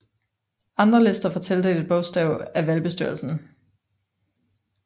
Andre lister får tildelt et bogstav af valgbestyrelsen